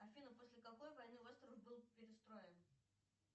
афина после какой войны остров был перестроен